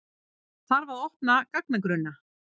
Þarf að opna gagnagrunna